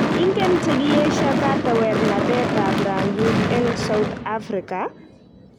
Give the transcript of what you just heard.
Ingen chekiesho. katewernatetab rangik eng South Africa?